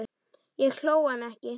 Ég hló, hann ekki.